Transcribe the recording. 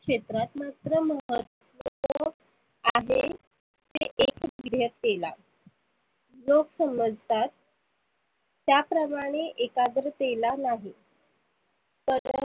क्षेत्रात मात्र आहे लोक समजतात त्या प्रमाणे एकाग्रतेला नाही. पर